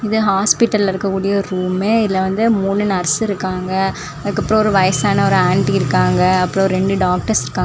இது ஹாஸ்பிடல்ல இருக்ககூடிய ரூமே இதுல வந்து மூணு நர்ஸ் இருக்காங்க அதுக்கப்ரோ ஒரு வயசான ஒரு ஆன்டி இருக்காங்க அப்ரோ ரெண்டு டாக்டர்ஸ் இருக்காங்.